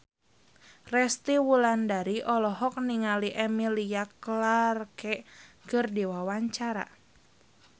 Resty Wulandari olohok ningali Emilia Clarke keur diwawancara